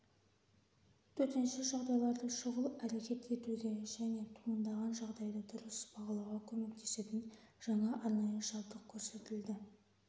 төтенше жағдайларда шұғыл әрекет етуге және туындаған жағдайды дұрыс бағалауға көмектесетін жаңа арнайы жабдық көрсетілді